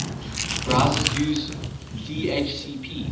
browsers use dhcp